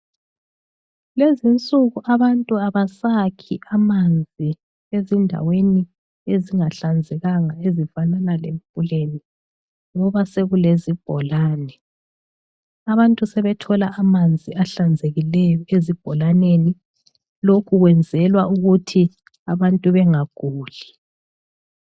Kulezinsuku abantu abasakhi amanzi ezindaweni ezingahlanzekanga ezifanana lemfuleni ngoba sekulezibholane. Abantu sebethola amanzi ahlanzekileyo ezibholaneni, lokhu kwenzelwa ukuthi abantu bengaguli.